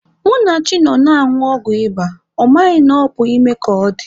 Munachi nọ na-anwụ ọgwụ ịba, ọ maghị na ọ bụ ime ka ọ dị.